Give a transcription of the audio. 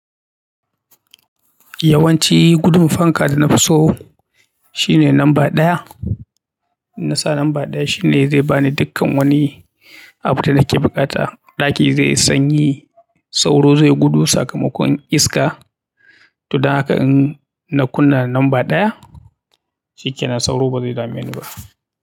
Yawanci gudun fanka da na fi so shine lamba ɗaya. In nasa lamba ɗaya shine zai bani dukkan wani abun da nake buƙata. Ɗaki zai yi sanyi sauro zai gudu, sakamakon iska. To dan hakaa in na kunna lamba ɗaya, shi kenan sauro ba zai dame ni ba.